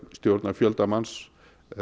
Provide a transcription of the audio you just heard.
stjórna fjölda manns